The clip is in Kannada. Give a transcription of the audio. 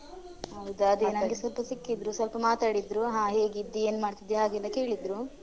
ಹೌದು ಅದೇ ನಂಗೆ ಸ್ವಲ್ಪ ಸಿಕ್ಕಿದ್ರು ಸ್ವಲ್ಪ ಮಾತಾಡಿದ್ರು ಹಾ ಹೇಗಿದ್ದಿ ಏನ್ ಮಾಡ್ತಿದ್ದಿ ಹಾಗೆಲ್ಲ ಕೇಳಿದ್ರು.